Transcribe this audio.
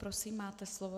Prosím, máte slovo.